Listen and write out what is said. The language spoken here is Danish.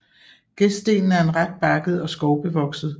Gestdelen er ret bakket og skovbevokset